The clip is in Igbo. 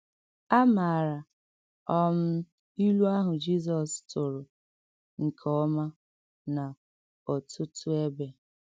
À màrà um ìlù àhụ̀ Jizọs tụrụ̀ nke ọma n’ọ̀tụ̀tụ̀ èbè.